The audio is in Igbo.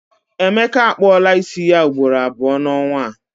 Emeka a kpụọla isi ya ugboro abụọ n'ọnwa a.